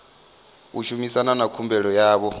u shumana na khumbelo yavho